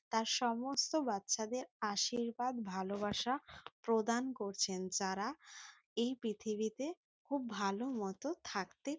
তার সমস্ত বাচ্চাদের আশীর্বাদ ভালোবাসা প্রদান করছেন যারা এই পৃথিবীতে খুব ভালো মতো থাকতে--